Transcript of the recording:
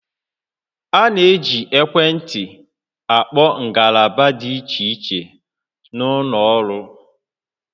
A na-eji ekwentị akpọ ngalaba dị iche iche n'ụlọ ọrụ